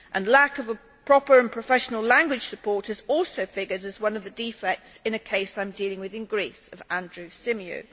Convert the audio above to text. Lack of a proper and professional language support has also figured as one of the defects in the case I am dealing with in Greece of Andrew Symeou.